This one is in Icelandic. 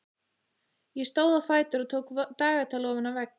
Ég stóð á fætur og tók dagatal ofan af vegg.